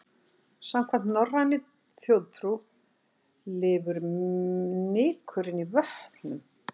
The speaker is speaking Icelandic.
Samkvæmt norrænni þjóðtrú lifur nykurinn í vötnum.